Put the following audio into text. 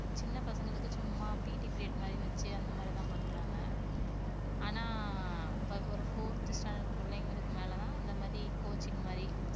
சின்ன பசங்களுக்கு சும்மா PT period மாதிரி வெச்சு அந்த மாதிரிதான் பண்றாங்க. ஆனா ஆஹ் ஒரு fourth standard பிள்ளைகளுக்கு மேல தான் இந்த மாதிரி coaching மாதிரி